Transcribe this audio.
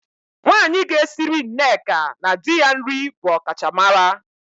Nwaanyị ga-esiri Nneka na di ya nri bụ ọkachamara.